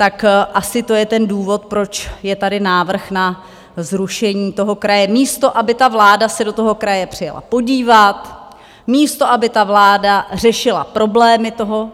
Tak asi to je ten důvod, proč je tady návrh na zrušení toho kraje, místo aby ta vláda se do toho kraje přijela podívat, místo aby ta vláda řešila problémy toho